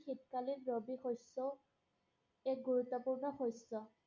শীতকালিন ৰবি শস্য, এক গুৰুত্বপূৰ্ণ শস্য।